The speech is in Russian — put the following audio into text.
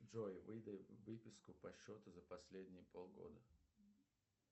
джой выдай выписку по счету за последние полгода